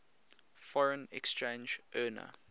foreign exchange earner